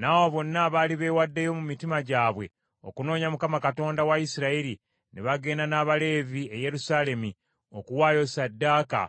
N’abo bonna abaali beewaddeyo mu mitima gyabwe okunoonya Mukama Katonda wa Isirayiri ne bagenda n’Abaleevi e Yerusaalemi okuwaayo ssaddaaka